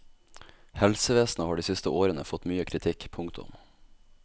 Helsevesenet har de siste årene fått mye kritikk. punktum